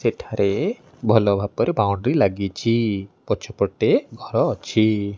ସେଠାରେ ଭଲ ଭାବରେ ବାଉଣ୍ଡ୍ରି ଲାଗିଚି‌। ପଛପଟେ ଘର ଅଛି।